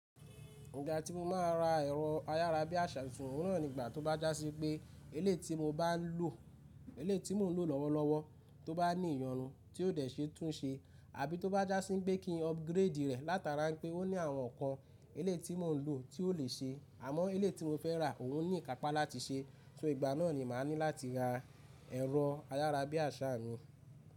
Ígbà tí mo máa n ra ẹ̀rọ ayárabíàṣá, òun rán nígbà tó bá já sí pé ilé tí mo ń lò lọ́wọ́lọ́wọ́ tó bá ní ìyọnu tí ó dẹ̀ ṣe tún ṣe, àbí tó bá já sí pé kí n upgrade rẹ̀ látara pé ó ní àwọn nǹkan eleyi tí mò ń lò tí ó lè ṣe, àmọ́ eleyi tí mo fẹ́ rà òun ní ìkápá láti ṣe, só igba náà ni mà ní láti ra ẹ̀rọ ayárabíàṣá mi.